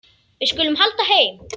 Við skulum halda heim.